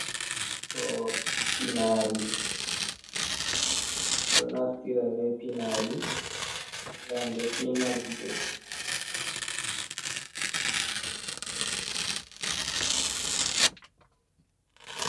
Do pinari! Bedo naftira be pinari ngam be fina gite.